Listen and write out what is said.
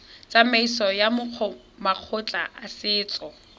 tsamaisong ya makgotla a setso